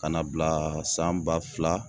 Ka n'a bila san ba fila